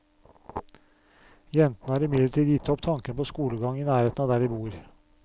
Jentene har imidlertid gitt opp tanken på skolegang i nærheten av der de bor.